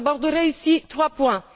J'aborderai ici trois points.